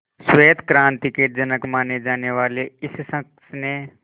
श्वेत क्रांति के जनक माने जाने वाले इस शख्स ने